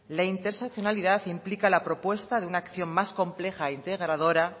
la interseccionalidad implica la propuesta de una acción más compleja e integradora